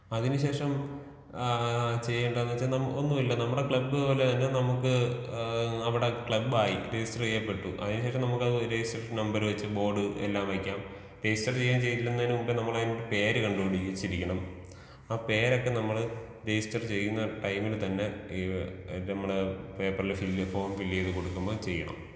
അതിന് ശേഷം ആഹ് ചെയ്യണ്ടത് എന്ന് വെച്ച ഒന്നൂല്ല നമ്മുടെ ക്ലബ് പോലെ തന്നെ നമ്മുക്ക് ഏഹ് അവിടെ ക്ലബ്ബായി രജിസ്റ്റർ ചെയ്യപ്പെട്ടു. അതിനുശേഷം നമ്മുക്ക് ലൈസീൻസ് നമ്പർ വെച്ച് ബോർഡ് എല്ലാം വെക്കാം. രജിസ്റ്റർ ചെയ്യാൻ ചെല്ലുന്നതിന് മുമ്പേ നമ്മളയിൻ ഒരു പേര് കണ്ടു്പിടിച്ചിരിക്കണം. ആ പേരൊക്കെ നമ്മൾ രജിസ്റ്റർ ചെയുന്ന ടൈമില്‍ തന്നെ ഈ ഇത് നമ്മുടെ പേപ്പർ ൽ ഫിൽ ഫോം ഫില്‍ ചെയ്ത് കൊടുക്കുമ്പോ ചെയ്യണം.